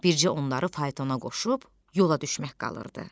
Bircə onları faytona qoşub yola düşmək qalırdı.